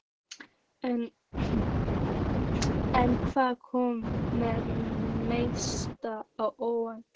En hvað kom mest á óvart?